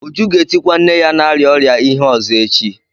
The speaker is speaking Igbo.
Uju ga-etikwa nne ya na-arịa ọrịa ihe ọzọ echi.